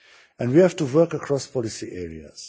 And we have to work across policy areas.